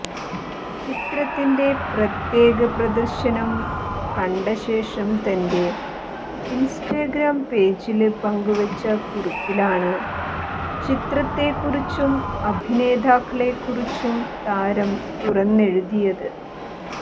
ചിത്രത്തിന്റെ പ്രത്യേക പദര്ശനം കണ്ടശേഷം തന്റെ ഇന്സ്റ്റഗ്രാം പേജില് പങ്കുവച്ച കുറിപ്പിലാണ് ചിത്രത്തെക്കുറിച്ചും അഭിനേതാക്കളെക്കുറിച്ചും താരം തുറന്നെഴുതിയത്